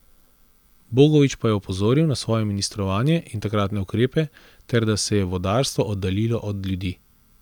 Bogovič pa je opozoril na svoje ministrovanje in takratne ukrepe, ter da se je vodarstvo oddaljilo od ljudi.